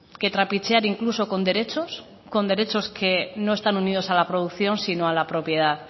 que trapichear incluso con derechos con derechos que no están unidos a la producción sino a la propiedad